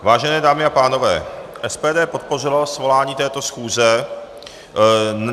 Vážené dámy a pánové, SPD podpořila svolání této schůze.